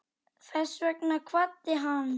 Þess vegna kvaddi hann.